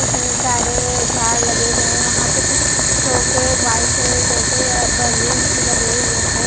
इतने सारे झाड़ लगे हुए है वहां पर कुछ शोक है वाइक है जैसे बलुंस भी लगे हुए है।